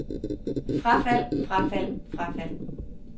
frafald frafald frafald